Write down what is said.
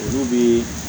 Olu bi